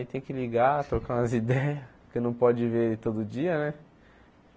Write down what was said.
Aí tem que ligar, trocar umas ideias que não pode ver todo dia, né?